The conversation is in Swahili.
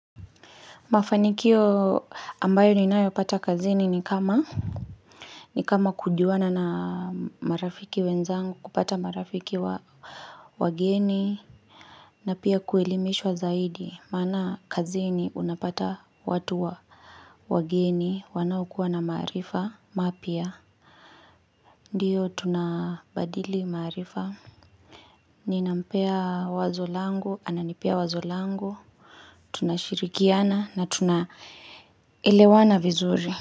Mafanikio ambayo ninayo pata kazini ni kama kujuana na marafiki wenzangu kupata marafiki wageni na pia kuelimishwa zaidi maana kazini unapata watu wa wageni wanaokuwa na maarifa mapya. Ndiyo tunabadili marifa, ninampea wazo langu, ananipea wazo langu, tunashirikiana na tunaelewana vizuri.